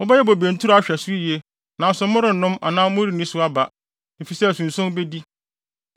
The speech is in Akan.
Mobɛyɛ bobe nturo ahwɛ so yiye nanso morennom anaa morenni so aba, efisɛ asunson bedi.